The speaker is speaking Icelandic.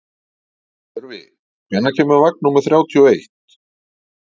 Tjörfi, hvenær kemur vagn númer þrjátíu og eitt?